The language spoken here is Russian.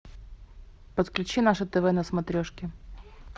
подключи наше тв на смотрешке